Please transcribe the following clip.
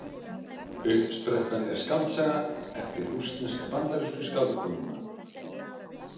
Uppsprettan er skáldsaga eftir rússnesk-bandarísku skáldkonuna.